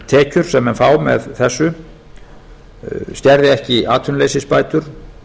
tekjur sem menn fá með þessu skerði ekki atvinnuleysisbætur